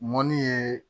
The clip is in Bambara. Mɔni ye